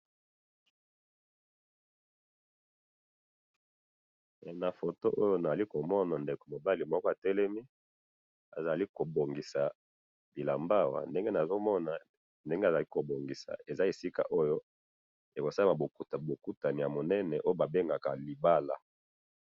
na foto oyo nazali komona ndeko mobli moko atelemi azali ko bongisa bilamba awa ndenge azali ko bongisa eza esika oyo eza esisa ekosalama bo okutu munene munene oyo ba bengaka libala.